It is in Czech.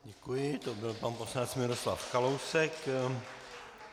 Děkuji, to byl pan poslanec Miroslav Kalousek.